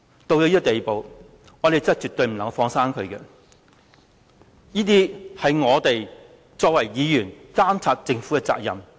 到了這個地步，我們絕對不能夠"放生"他，因為這是我們作為議員監察政府的責任。